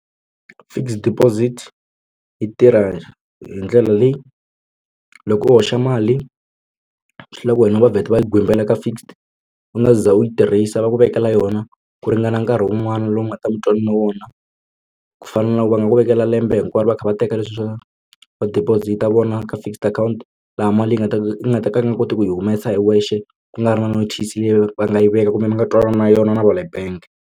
Fixed deposit yi tirha hi ndlela leyi loko u hoxa mali swi lava ku wena va vheta va yi gwimbela ka fixed u nga za u yi tirhisa va ku vekela yona ku ringana nkarhi wun'wana lowu nga ta wu nga ta ku fana na loko va nga ku vekela lembe hinkwaro va kha va teka leswiya swo va deposit a vona ka fixed account laha mali yi nga ta ku nga ta ka a nga koti ku yi humesa hi wexe ku nga ri na notice leyi va nga yi veka kumbe mi nga twanana yona na va le bank.